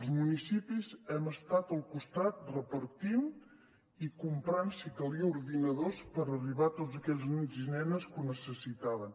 els municipis hi hem estat al costat repartint i comprant si calia ordinadors per arribar a tots aquells nens i nenes que ho necessitaven